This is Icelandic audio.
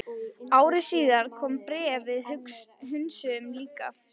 Ári síðar kom annað bréf sem við hunsuðum líka.